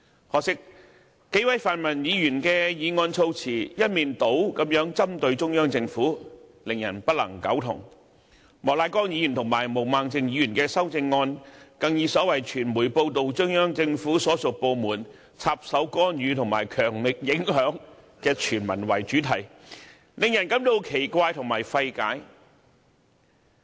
可惜，數位泛民議員的修正案措辭一面倒針對中央政府，令人不能苟同；莫乃光議員和毛孟靜議員的修正案，更表示傳媒報道中央人民政府所屬部門"插手干預"和"強力影響"特首選舉，令人感到奇怪和費解。